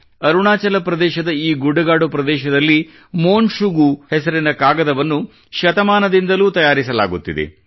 ಅರುಣಾಚಲ ಪ್ರದೇಶದ ಈ ಗುಡ್ಡಗಾಡು ಪ್ರದೇಶದಲ್ಲಿ ಮೋನ ಶುಗು ಹೆಸರಿನ ಕಾಗದವನ್ನು ಶತಮಾನದಿಂದಲೂ ತಯಾರಿಸಲಾಗುತ್ತಿದೆ